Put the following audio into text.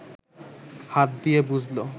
হাত দিয়ে বুঝল